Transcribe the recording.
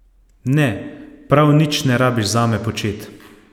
Ne, prav nič ne rabiš zame počet.